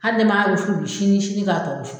Hal nɛ ma ro fu sini sini k'a tɔ wusu